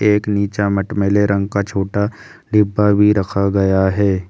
एक नीचा मटमेले रंग का छोटा डिब्बा भी रखा गया है।